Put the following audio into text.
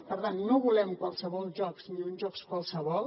per tant no volem qualssevol jocs ni uns jocs qualssevol